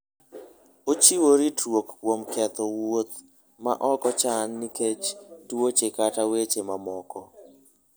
Ochiwo ritruok kuom ketho wuoth ma ok ochan nikech tuoche kata weche mamoko.